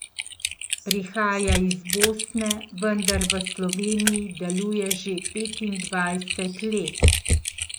Prihaja iz Bosne, vendar v Sloveniji deluje že petindvajset let.